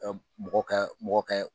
Mɔgɔ ka mɔgɔ ka